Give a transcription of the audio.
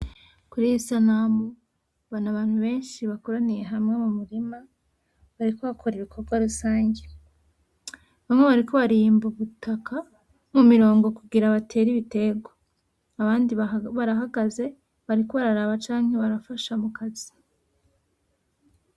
Kuri iyi sanamu mbona abantu beshi bakoraniye hamwe mu murima bariko bakora ibikorwarusangi bamwe bariko barimba ubutaka mu mirongo kugira batere ibiterwa abandi barahagaze bariko bararaba canke barafasha mu Kazi.